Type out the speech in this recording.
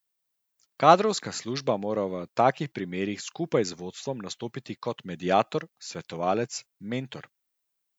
Kadrovska služba mora v takih primerih skupaj z vodstvom nastopiti kot mediator, svetovalec, mentor.